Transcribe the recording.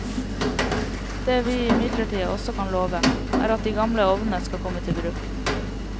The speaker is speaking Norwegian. Det vi imidlertid også kan love, er at de gamle ovnene skal komme til bruk.